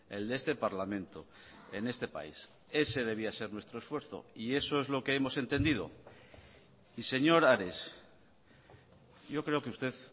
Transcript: el de este parlamento en este país ese debía ser nuestro esfuerzo y eso es lo que hemos entendido y señor ares yo creo que usted